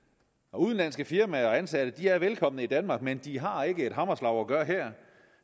udenlandske firmaer og ansatte er velkomne i danmark men de har ikke et hammerslag at gøre her